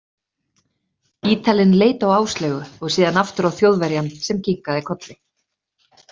Ítalinn leit á Áslaugu, og síðan aftur á Þjóðverjann, sem kinkaði kolli.